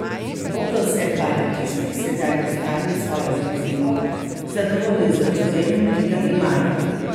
Bodo separatisti sedaj ustavili svojo ofenzivo, zadovoljni z ozemljem, ki ga imajo?